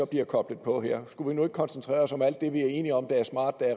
bliver koblet på her skulle vi nu ikke koncentrere os om alt det vi er enige om er smart